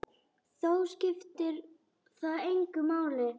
Þó skiptir það engu máli.